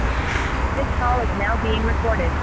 this call is now been recorded